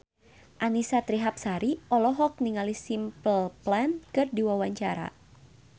Annisa Trihapsari olohok ningali Simple Plan keur diwawancara